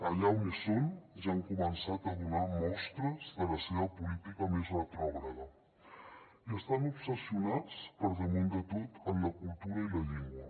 allà on són ja han començat a donar mostres de la seva política més retrògrada i estan obsessionats per damunt de tot en la cultura i la llengua